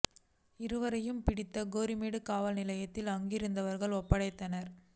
இருவரை யும் பிடித்து கோரிமேடு காவல் நிலையத்தில் அங்கிருந்தவர்கள் ஒப்படைத்தனர்